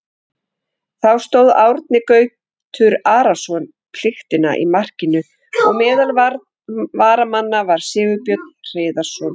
Þá stóð Árni Gautur Arason pliktina í markinu og meðal varamanna var Sigurbjörn Hreiðarsson.